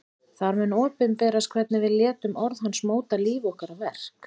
Þar mun opinberast hvernig við létum orð hans móta líf okkar og verk.